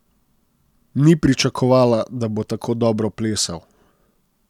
Ni pričakovala, da bo tako dobro plesal.